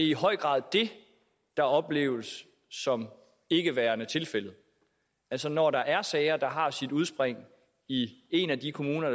i høj grad det der opleves som ikke værende tilfældet altså når der er sager der har sit udspring i en af de kommuner